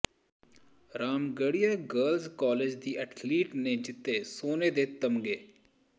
Ramgarhia girls college ਦੀ athlete ਨੇ ਜਿੱਤੇ ਸੋਨੇ ਦੇ ਤਮਗੇ